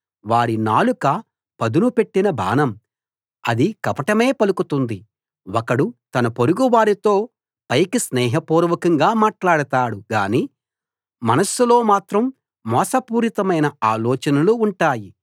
వారి నాలుక పదును పెట్టిన బాణం అది కపటమే పలుకుతుంది ఒకడు తన పొరుగువారితో పైకి స్నేహపూర్వకంగా మాట్లాడతాడు గాని మనస్సులో మాత్రం మోసపూరితమైన ఆలోచనలు ఉంటాయి